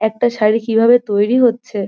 একটা শাড়ি কিভাবে তৈরি হচ্ছে--